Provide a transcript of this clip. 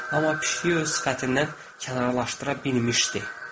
Amma pişiyi öz sifətindən kənarlaşdıra bilmişdi.